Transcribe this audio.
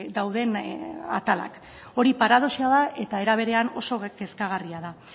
dauden atalak hori paradoxa da eta era berean oso kezkagarria da